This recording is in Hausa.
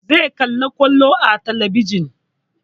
Zai kalli kwallo a talabijin